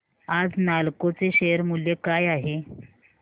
आज नालको चे शेअर मूल्य काय आहे